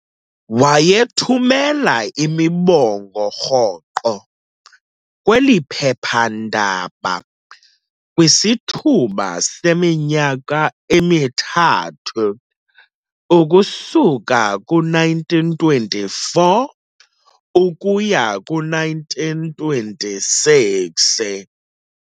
Wayethumela imibongo rhoqo kweliphephandaba kwisithuba seminyaka emithathu ukusuka ku1924 ukuya ku1926.